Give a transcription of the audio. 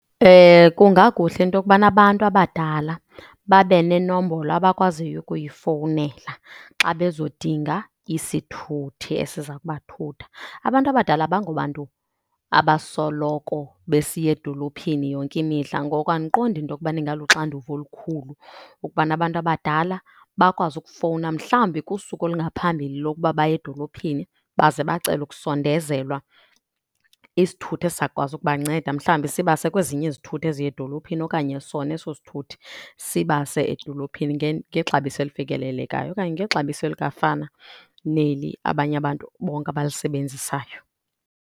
Kungakuhle into kubana abantu abadala babe nenombolo abakwaziyo ukuyifowunela xa bezodinga isithuthi esiza kubathutha. Abantu abadala abangobantu abasoloko besiya edolophini yonke imihla, ngoko andiqondi into kubana ingaluxanduva olukhulu ukubana abantu abadala bakwazi ukufowuna mhlawumbi kusuku olungaphambili lokuba baye edolophini. Baze bacele ukusondezelwa isithuthi esizakwazi ukubanceda. Mhlawumbi sibase kwezinye izithuthi eziya edolophini okanye sona eso sithuthi sibase edolophini ngexabiso elifikelelekayo okanye ngexabiso elikwafana neli abanye abantu bonke abalisebenzisayo.